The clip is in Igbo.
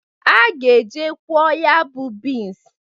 A ga-e je kwọọ ya bụ bins.